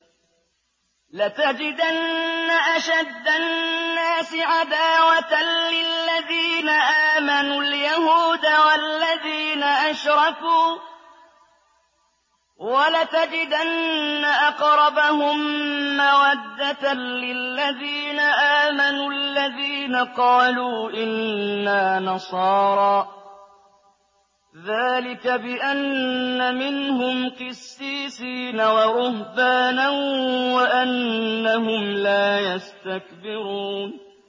۞ لَتَجِدَنَّ أَشَدَّ النَّاسِ عَدَاوَةً لِّلَّذِينَ آمَنُوا الْيَهُودَ وَالَّذِينَ أَشْرَكُوا ۖ وَلَتَجِدَنَّ أَقْرَبَهُم مَّوَدَّةً لِّلَّذِينَ آمَنُوا الَّذِينَ قَالُوا إِنَّا نَصَارَىٰ ۚ ذَٰلِكَ بِأَنَّ مِنْهُمْ قِسِّيسِينَ وَرُهْبَانًا وَأَنَّهُمْ لَا يَسْتَكْبِرُونَ